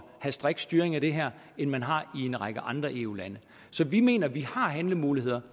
have strikt styring af det her end man har i en række andre eu lande så vi mener at vi har handlemuligheder